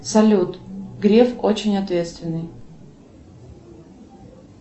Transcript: салют греф очень ответственный